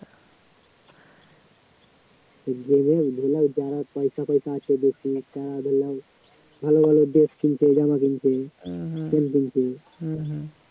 যারা পয়সা টয়সা আছে বেশি তারা হল ভালো ভালো dress কিনছে জামা কিনছে phone কিনছে